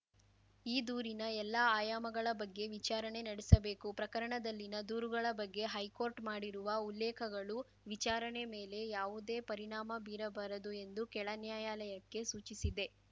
ಈ ದೂರಿನ ಎಲ್ಲ ಆಯಾಮಗಳ ಬಗ್ಗೆ ವಿಚಾರಣೆ ನಡೆಸಬೇಕು ಪ್ರಕರಣದಲ್ಲಿನ ದೂರುಗಳ ಬಗ್ಗೆ ಹೈಕೋರ್ಟ್‌ ಮಾಡಿರುವ ಉಲ್ಲೇಖಗಳು ವಿಚಾರಣೆ ಮೇಲೆ ಯಾವುದೇ ಪರಿಣಾಮ ಬೀರಬಾರದು ಎಂದು ಕೆಳ ನ್ಯಾಯಾಲಯಕ್ಕೆ ಸೂಚಿಸಿದೆ